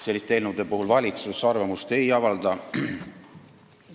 Selliste eelnõude puhul valitsus arvamust ei avalda.